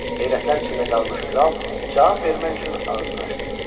Heyrətlər içində qalmış kral cavab vermək üçün ağzını açdı.